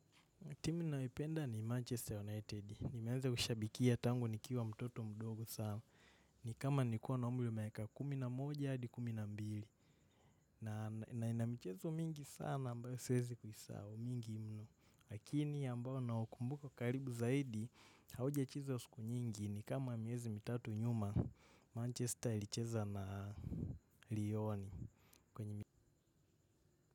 Timu nayopenda ni Manchester United. Nimeanza kushabikia tangu nikiwa mtoto mdogo sana. Ni kama nikuwa na umri miaka kumi na moja hadi kumi na mbili. Na ina michezo mingi sana ambayo siwezi kuisahau mingi mno. Lakini ambao naukumbuka karibu zaidi hauja cheza kwa siku nyingi. Nikama miezi mitatu nyuma, Manchester ilicheza na Lione.